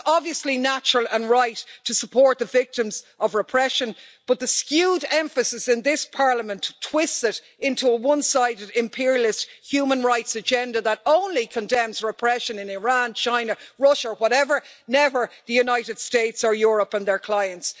It's obviously natural and right to support the victims of repression, but the skewed emphasis in this Parliament to twist it into a one sided imperialist human rights agenda that only condemns repression in Iran, China, Russia, whatever never the United States or Europe and their clients.